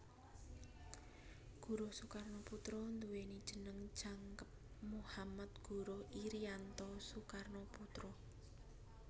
Guruh Soekarnoputra nduwèni jeneng jangkep Muhammad Guruh Irianto Soekarnoputra